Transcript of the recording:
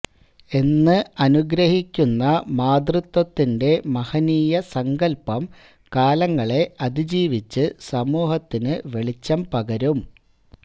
എന്ന് അനുഗ്രഹിക്കുന്ന മാതൃത്വത്തിന്റെ മഹനീയ സങ്കല്പ്പം കാലങ്ങളെ അതിജിവിച്ചു സമൂഹത്തിനു വെളിച്ചം പകരും